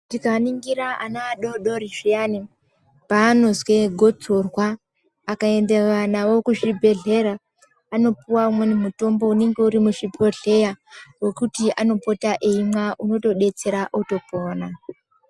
Tikaningira ana adodori zviyani paanozwe gotsorwa akaendewa nawo kuzvibhedhlera anopuwa umweni mutombo unenge uri muzvibhodhleya wekuti anopota eimwa unotodetsera otopona.